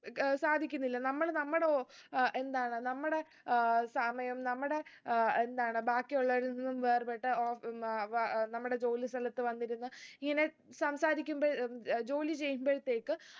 ഏർ സാധിക്കുന്നില്ല നമ്മൾ നമ്മടെ ഓ ഏർ എന്താണ് നമ്മടെ ഏർ സമയം നമ്മടെ ഏർ എന്താണ് ബാക്കിയുള്ളവരിൽ നിന്നും വേർപെട്ട ഓ നമ്മുടെ ജോലി സ്ഥലത്ത് വന്നിരുന്ന് ഇങ്ങനെ സംസാരിക്കുമ്പോ ഉം ഉം ജോലി ചെയ്യുമ്പൾത്തേക്ക്